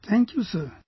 Thank you sir